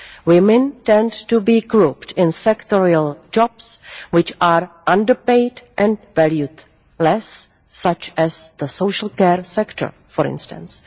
Women tend to be grouped in sectoral jobs which are under paid and valued less, such as the social care sector, for instance.